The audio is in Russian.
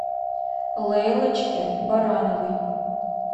лейлочке барановой